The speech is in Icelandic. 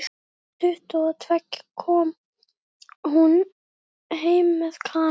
Rúmlega tuttugu og tveggja kom hún heim með Kana.